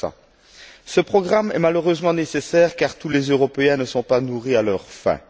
500? Ce programme est, malheureusement, nécessaire car tous les Européens ne sont pas nourris à leur faim.